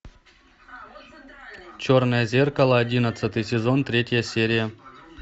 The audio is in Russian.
черное зеркало одиннадцатый сезон третья серия